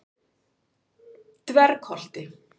Dvergholti